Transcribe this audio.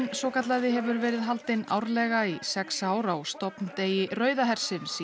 svokallaði hefur verið haldinn árlega í sex ár á stofndegi Rauða hersins í